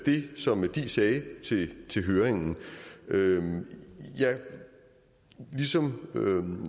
i det som diis sagde til høringen høringen ligesom